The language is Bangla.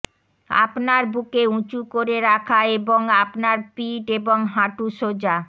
আপনার বুকে উঁচু করে রাখা এবং আপনার পিঠ এবং হাঁটু সোজা